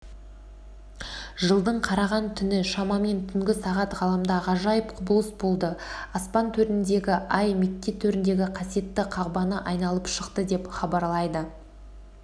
жылдың қараған түні шамамен түнгі сағат ғаламда ғажайып құбылыс болды аспан төріндегі ай мекке төріндегі қасиетті қағбаны айналып шықты деп хабарлайды